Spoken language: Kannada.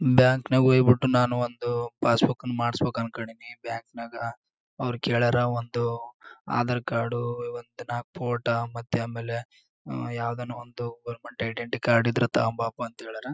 ಬ್ಯಾಂಕ್ ನ ವಹಿವಾಟು ನಾನು ಒಂದು ಪಾಸ್ ಬುಕ್ ನ ಮಾಡ್ಸಬೇಕು ಅನ್ನಕೊಂಡೀನಿ ಬ್ಯಾಂಕ್ ನಾಗ್ ಅವ್ರು ಕೆಳರ್ ಒಂದು ಆಧಾರ್ ಕಾರ್ಡು ಫೋಟೋ ಮತ್ತೆ ಆಮೇಲೆ ಯಾವದನ್ ಒಂದು ಐಡೆಂಟಿಕಾರ್ಡ್ ಇದ್ರೆ ತೊಕೊಂಬಾಪ ಅಂತ ಹೇಳ್ಯಾರ .